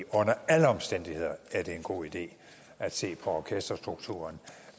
under alle omstændigheder er det en god idé at se på orkesterstrukturen